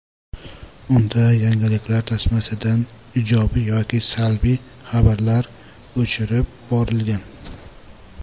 Unda yangiliklar tasmasidan ijobiy yoki salbiy xabarlar o‘chirib borilgan.